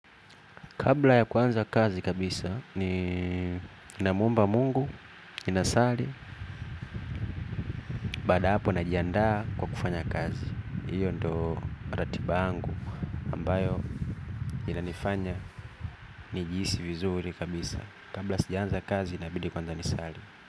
Kabla ya kwanza kazi kabisa, nina mwomba Mungu, nina sali, baada ya hapo najiandaa kwa kufanya kazi. Iyo ndo ratiba yangu ambayo inanifanya ni jihisi vizuri kabisa. Kabla sijaanza kazi inabidi kwanza nisali.